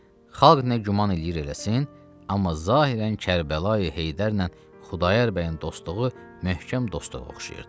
Xalq nə güman eləyir eləsin, amma zahirən Kərbəlayi Heydərlə Xudayar bəyin dostluğu möhkəm dostluğa oxşayırdı.